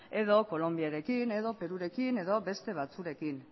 edo kolonbiarekin edo perurekin edo beste batzuekin